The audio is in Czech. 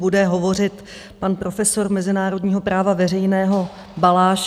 Bude hovořit pan profesor mezinárodního práva veřejného Balaš.